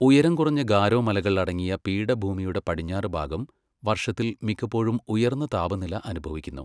ഉയരം കുറഞ്ഞ ഗാരോ മലകൾ അടങ്ങിയ പീഠഭൂമിയുടെ പടിഞ്ഞാറുഭാഗം, വർഷത്തിൽ മിക്കപ്പോഴും ഉയർന്ന താപനില അനുഭവിക്കുന്നു.